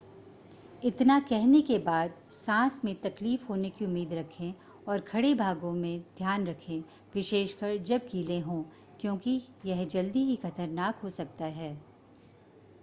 इतना कहने के बाद सांस में तकलीफ होने की उम्मीद रखें और खड़े भागों में ध्यान रखें विशेषकर जब गीले हों क्योंकि यह जल्दी ही खतरनाक हो सकता है